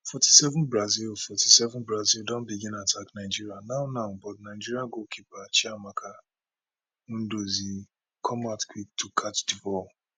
forty seven brazil forty seven brazil don begin attack nigeria now now but nigeria goalkeeper chiamaka nnadozie come out quick to catch di ball